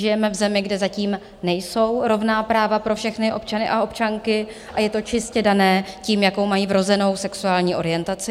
Žijeme v zemi, kde zatím nejsou rovná práva pro všechny občany a občanky, a je to čistě dané tím, jakou mají vrozenou sexuální orientaci.